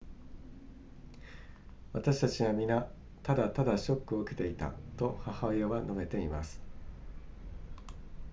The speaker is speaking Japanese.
私たちは皆ただただショックを受けていたと母親は述べています